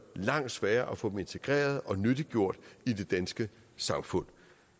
langt sværere at få dem integreret og nyttiggjort i det danske samfund